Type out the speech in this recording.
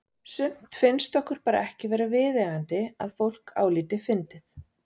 Sumt finnst okkur bara ekki vera viðeigandi að fólk álíti fyndið.